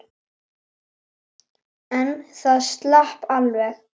En það slapp alveg.